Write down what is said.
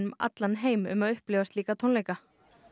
allan heim um að upplifa slíka tónleika